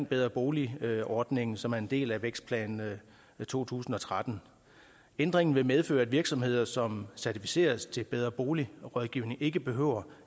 bedre bolig ordningen som er en del af vækstplan to tusind og tretten ændringen vil medføre at virksomheder som certificeres til bedre bolig rådgivning ikke behøver